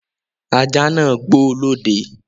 Ajá náà ń gbó lọ́dẹ